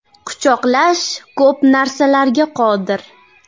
Quchoqlash ko‘p narsalarga qodir.